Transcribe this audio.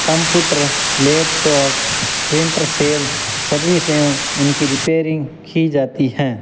Computer laptop printer sale service एवं उनकी repairing की जाती है।